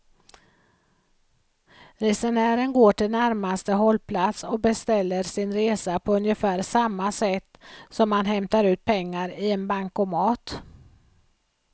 Resenären går till närmaste hållplats och beställer sin resa på ungefär samma sätt som man hämtar ut pengar i en bankomat.